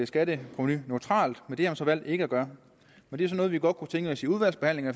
skatteprovenu neutralt men det har man så valgt ikke at gøre det er noget vi godt kunne tænke os i udvalgsbehandlingen